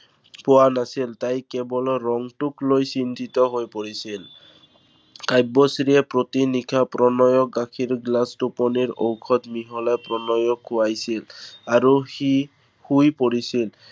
পোৱা নাছিল। তাই কেৱল ৰংটোক লৈ চিন্তিত হৈ পৰিছিল। কাব্যশ্ৰীয়ে প্ৰতি নিশা গাখীৰ গিলাচ টোপনিৰ ঔষধ মিহলাই প্ৰণয়ক খোৱাইছিল আৰু সি শুই পৰিছিল।